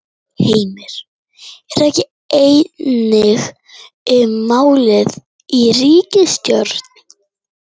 Heimir: Er ekki eining um málið í ríkisstjórn?